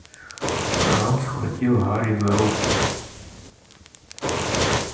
рон схватил гарри за руку